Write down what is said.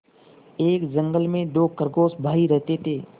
एक जंगल में दो खरगोश भाई रहते थे